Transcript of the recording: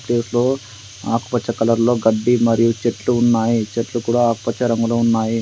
ఏట్లో ఆకుపచ్చ కలర్లో గడ్డి మరియు చెట్లు ఉన్నాయి. చెట్లు కూడా ఆకుపచ్చ రంగులో ఉన్నాయి.